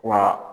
Wa